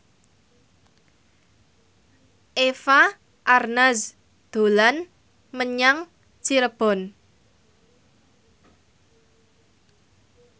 Eva Arnaz dolan menyang Cirebon